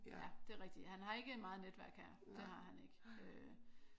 Ja. Det er rigtigt. Han har ikke meget netværk her. Det har han ikke